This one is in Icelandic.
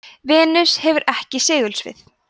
venus hefur ekki segulsvið